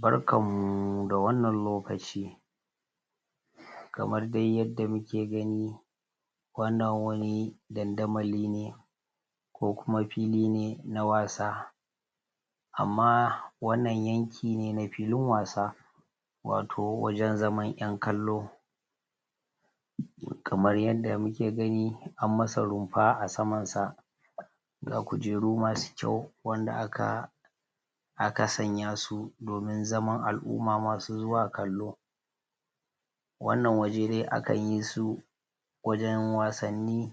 Barkanmu da wannan lokaci kamar dai yadda muke gani, wannan wani dandamali ne kokuma fili ne na wasa kokuma fili ne na wasa amma wannan yanki ne na filin wasa wato wajen zaman yan kallo Kamar yadda muke gani anmasa runfa a Saman sa ga kujeru masu kyau wanda aka aka sanya su domin zaman al'umma masu zuwa kallo wannan waje dai akayi su wajen wasanni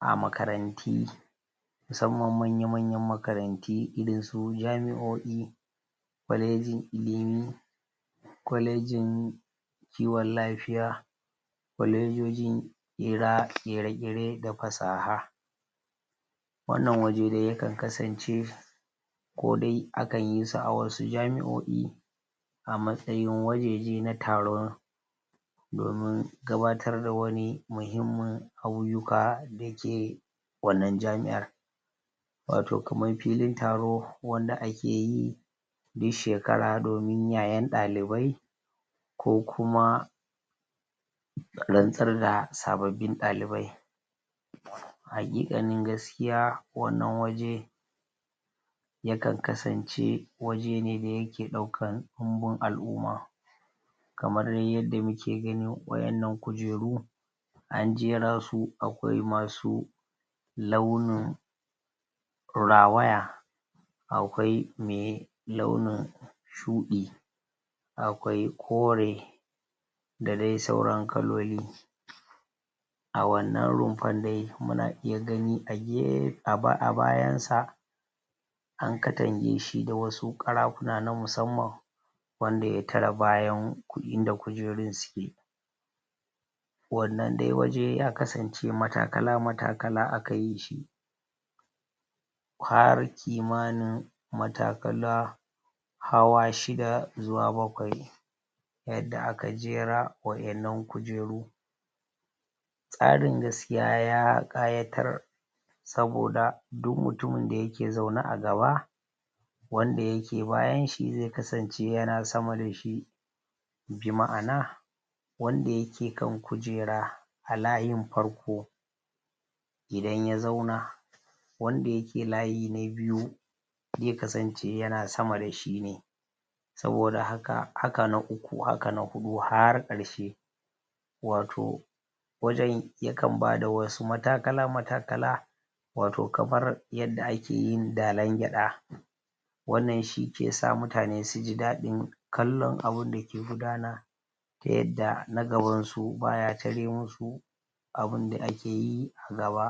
a makarantu musanman manya-manyan makarantu irinsu jami'oi kolejin ilimi, kolejin kiwon lafiya kolejojin ƙera ƙeƙeran da fasaha wannan waje dai ya kan kasance kodai akanyi su a wani jami'o'i a matsayin wajeje na taron domin gabatar da wani muhimman ayuka da ke wannan jami'an wato kaman filin taro wanda akeyi duk shekara domin yayan dalibai ko kuma ko kuma rantsar da sababbin dalibai, haƙiƙanin gaskiya wannan waje ya kan kasance waje ne da ya ke daukan ɗunbun al'umma kamar da yadda muke gani wa'innan kujeru an jera su akwai masu launin rawaya akwai mai launin shuɗi akwai kore da dai sauran kaloli. A wannan rumfan dai muna iya gani a gefe a bayansa an katangeshi da wasu karafuna na musanman wanda ya tare ta bayan inda kujerun suke, Wannan dai waje ya kasance matakala matakala akayi har kimanin matakala hawa shida zuwa bakwai yadda aka jera wa'innan kujeru, Tsarin gaskiya ya ƙayatar saboda duk mutumin da yake zaune a gaba wanda yake bayanshi zai kasance yana sama dashi bi ma'ana wanda yake kan kujera a layin farko idan ya zauna wanda yake layi na biyu zai kasance yana sama dashi ne saboda haka Haka na uku haka na huɗu har karshe wato wajen yakan bada wasu matakala matakala wato kamar yadda ake yin Dallan gyaɗa wannan shi ke sa mutane su ji daddin kallon abunda ke gudana ta yadda na gabansu ba ya tare musu abunda ake yi a gaba.